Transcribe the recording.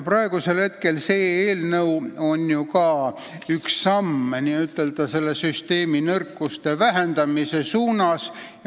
Praegune eelnõu on samuti üks samm süsteemi nõrkuste vähendamise poole.